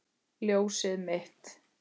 Ljósið mitt.